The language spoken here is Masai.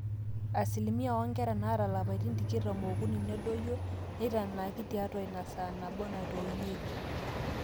asilimia oonkera naata ilapaitin tikitam ookuni nedoyio neitanaaki tiatua inasaa nabo natoiunyieki